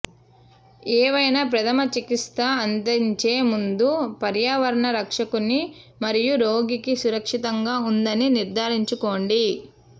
ఏవైనా ప్రథమ చికిత్స అందించే ముందు పర్యావరణం రక్షకుని మరియు రోగికి సురక్షితంగా ఉందని నిర్ధారించుకోండి